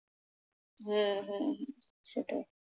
হ্যাঁ হ্যাঁ সেটাই।